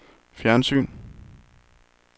fjernsyn